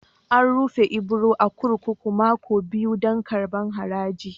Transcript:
An rufe Ibro a'kurkuku mako biyu dan karban haraji.